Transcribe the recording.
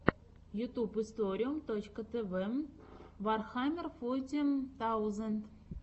ютьюб историум точка тв вархаммер фоти таузенд